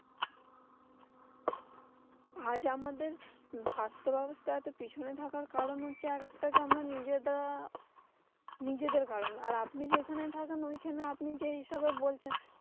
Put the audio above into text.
আজ আমাদের স্বাস্থ্যব্যবস্থা এতটা পিছনে থাকার কারণ হচ্ছে, আর একটা যে আমরা নিজেরা নিজেদের কারণ। আর আপনি যেইখানে থাকেন ঐখানে আপনি যেইসবে বলছেন।